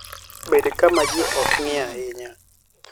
Bed kama ji ok ng'i ahinya.